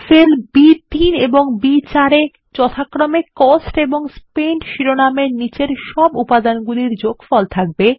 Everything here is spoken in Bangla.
সেল বি3 এবং বি4 এ যথাক্রমে কস্ট এন্ড স্পেন্ট শিরোনামগুলির নিচের সব উপাদানের যোগফল থাকবে